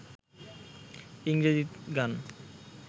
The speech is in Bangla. ইংরেজি গান